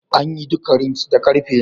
An yi duka rims da karfe ne?